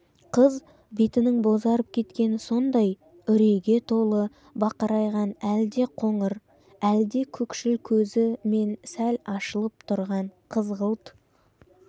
қыз бетінің бозарып кеткені сондай үрейге толы бақырайған әлде қоңыр әлде көкшіл көзі мен сәл ашылып тұрған қызғылт